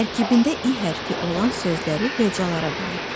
Tərkibində İ hərfi olan sözləri hecalara bölək.